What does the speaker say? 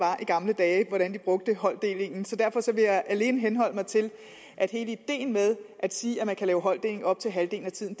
var i gamle dage og hvordan man brugte holddeling derfor vil jeg alene henholde mig til at hele ideen med at sige at man kan lave holddeling i op til halvdelen af tiden